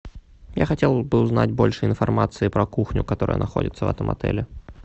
я хотел бы узнать больше информации про кухню которая находится в этом отеле